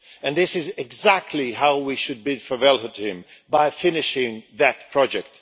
This is exactly how we should bid farewell to him by finishing that project.